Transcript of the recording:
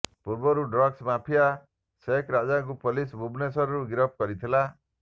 ପୂର୍ବରୁ drugs mafia ସେକ ରାଜାକୁ ପୋଲିସ ଭୁବନେଶ୍ବରରୁ ଗିରଫ କରିଥିଲା